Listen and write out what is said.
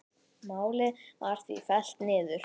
Málið var því fellt niður.